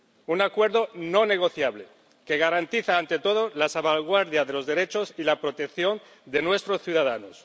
Un acuerdo no negociable que garantiza, ante todo, la salvaguardia de los derechos y la protección de nuestros ciudadanos.